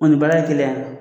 O ni baara ye kelen a